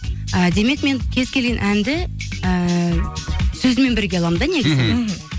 і демек мен кез келген әнді ііі сөзімен бірге аламын да негізі мхм мхм